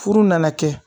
Furu nana kɛ